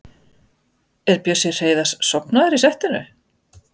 Er Bjössi Hreiðars sofnaður í settinu?